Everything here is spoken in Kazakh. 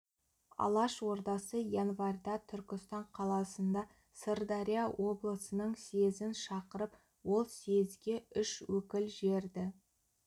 алаш ордасы январьда түркістан қаласында сырдария облысының съезін шақырып ол съезге үш өкіл жіберді